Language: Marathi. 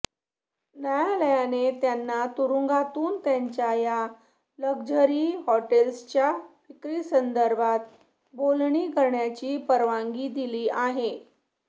न्यायालयाने त्यांना तुरूंगातूनच त्यांच्या या लकझरी हॉटेल्सच्या विक्रीसंदर्भात बोलणी करण्याची परवानगी दिली आहे